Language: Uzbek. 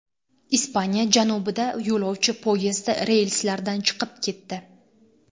Ispaniya janubida yo‘lovchi poyezdi relslardan chiqib ketdi.